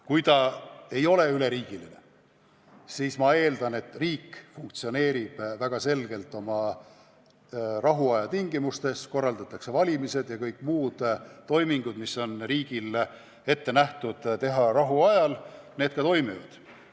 Kui see ei ole üleriigiline, siis ma eeldan, et riik funktsioneerib väga selgelt nagu rahuajal ikka: korraldatakse valimised ja kõik muud toimingud, mis on riigis rahuajal ette nähtud.